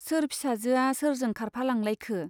सोर फिसाजोआ सोरजों खारफालांलायखो ?